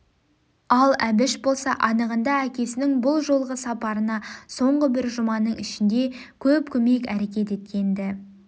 ал әбіш болса анығында әкесінің бұл жолғы сапарына соңғы бір жүма-ның ішінде көп көмек әрекет еткен-ді